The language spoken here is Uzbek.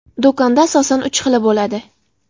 Do‘konda asosan uch xili bo‘ladi.